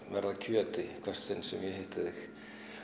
verð að kjöti í hvert sinn sem ég hitti þig